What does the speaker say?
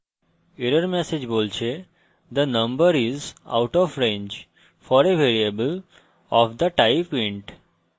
error message বলছে the number is out of range for a variable of the type int